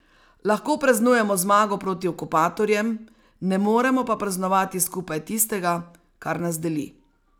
Lahko praznujemo zmago proti okupatorjem, ne moremo pa praznovati skupaj tistega, kar nas deli.